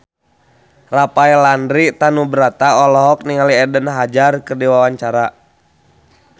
Rafael Landry Tanubrata olohok ningali Eden Hazard keur diwawancara